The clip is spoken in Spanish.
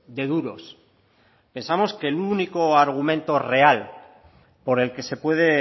de duros pensamos que el único argumento real por el que se puede